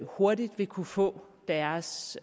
hurtigt vil kunne få deres